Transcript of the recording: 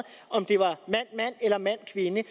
om det var mand mand eller mand kvinde